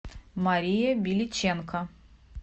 мария беличенко